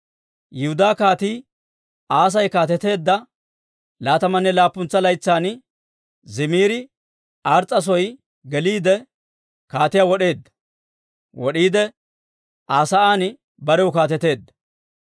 Yihudaa Kaatii Aasi kaateteedda laatamanne laappuntsa laytsan Zimiri Ars's'a soo geliide kaatiyaa wod'iide Aa sa'aan barew kaateteedda.